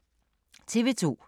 TV 2